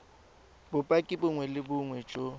bopaki bongwe le bongwe jo